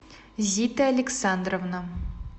зита александровна